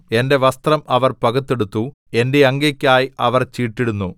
എന്റെ വസ്ത്രം അവർ പകുത്തെടുത്തു എന്റെ അങ്കിക്കായി അവർ ചീട്ടിടുന്നു